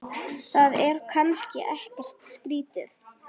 Það er kannski ekkert skrýtið?